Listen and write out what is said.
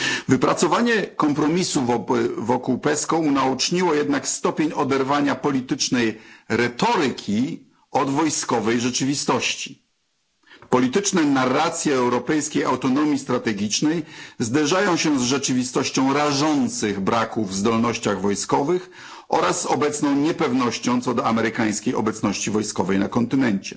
Wypracowanie kompromisu wokół PESCO unaoczniło jednak stopień oderwania politycznej retoryki od wojskowej rzeczywistości. Polityczne narracje o europejskiej autonomii strategicznej zderzają się z rzeczywistością rażących braków w zdolnościach wojskowych oraz obecną niepewnością co do amerykańskiej obecności wojskowej na kontynencie.